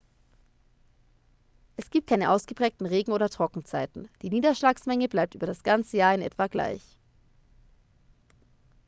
es gibt keine ausgeprägten regen oder trockenzeiten die niederschlagsmenge bleibt über das ganze jahr in etwa gleich